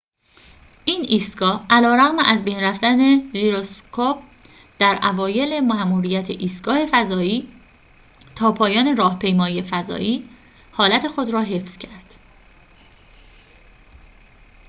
این ایستگاه علیرغم از بین رفتن ژیروسکوپ در اوایل ماموریت ایستگاه فضایی تا پایان راهپیمایی فضایی حالت خود را حفظ کرد